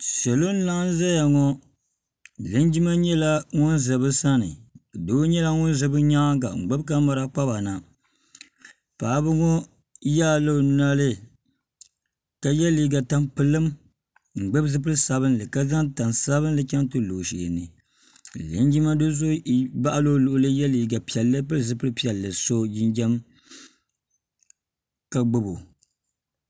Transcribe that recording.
salɔ n laɣam ʒɛya ŋɔ linjima nyɛla ŋun ʒɛ bi sani doo nyɛla ŋun ʒɛ bi nyaanga ka gbubi kamɛra paba na paɣaba ŋɔ yaala o nɔli ka yɛ liiga tampilim n gbubi zipili sabinli ka zaŋ tani sabinli chɛŋ ti lɔ o sheeni ka linjima do so baɣali o luɣuli yɛ liiga piɛlli pili zipili piɛlli n so jinjɛm ka gbubi o